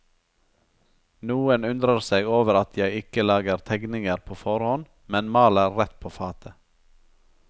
Noen undrer seg over at jeg ikke lager tegninger på forhånd, men maler rett på fatet.